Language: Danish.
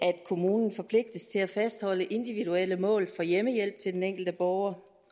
kommunen forpligtes til at fastholde individuelle mål for hjemmehjælp til den enkelte borger